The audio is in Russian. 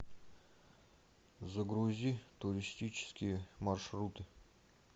загрузи туристические маршруты